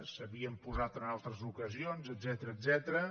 s’havien posat en altres ocasions etcètera